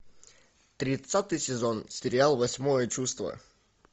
тридцатый сезон сериал восьмое чувство